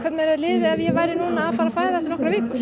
ef ég væri að fara fæða eftir nokkrar vikur